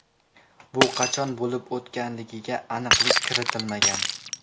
Bu qachon bo‘lib o‘tganligiga aniqlik kiritilmagan.